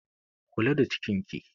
Kula da cikin ki!